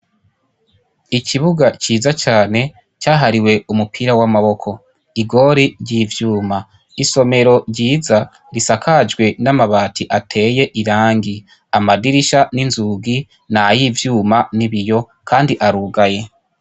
Ikibuga ciza cane cahariwe umupira w'amaboko. Igori ry'ivyuma. Isomero ryiza risakajwe n'amabati ateye irangi amadirisha n'izugi nay'ivyuma n'ibiyo kandi arugaye.